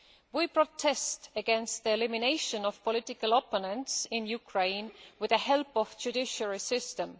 We protest against the elimination of political opponents in Ukraine with the help of the judicial system.